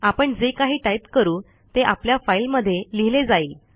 आपण जे काही टाईप करू ते आपल्या फाईलमध्ये लिहिले जाईल